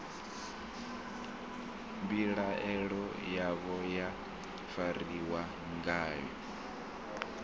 mbilaelo yavho ya fariwa ngayo